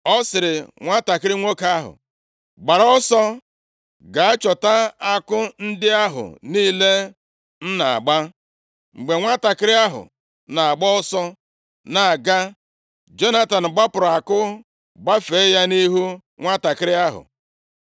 Ọ sịrị nwantakịrị nwoke ahụ, “Gbara ọsọ gaa chọta àkụ ndị ahụ niile m na-agba.” Mgbe nwantakịrị ahụ na-agba ọsọ na-aga, Jonatan gbapụrụ àkụ, gbafee ya nʼihu nwantakịrị ahụ.